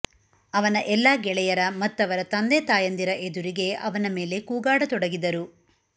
ಅವನ ಎಲ್ಲ ಗೆಳೆಯರ ಮತ್ತವರ ತಂದೆತಾಯಂದಿರ ಎದುರಿಗೆ ಅವನ ಮೇಲೆ ಕೂಗಾಡತೊಡಗಿದರು